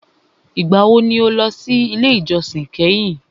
Ìgbà wo ni o lọ sí ilé ìjósìn kẹ́hìn?